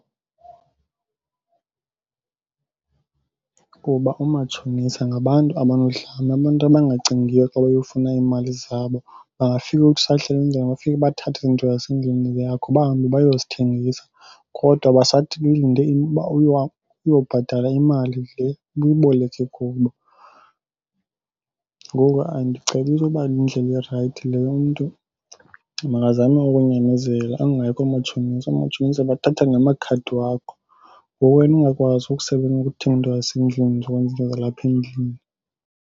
Kuba umatshonisa ngabantu abanodlame, abantu abangacingiyo xa beyofuna iimali zabo. Bangafika uthi usahleli endlini, bafike bathathe izinto zasendlini le yakho bahambe bayozithengisa kodwa uyobhatala imali le ubuyiboleke kubo. Ngoku andicebisi uba yindlela erayithi leyo. Umntu makazame ukunyamezela, angayi koomatshonisa. Oomatshonisa bathatha namakhadi wakho ngoku wena ungakwazi ukuthenga into zasendlini uzokwenza izinto zalapha endlini.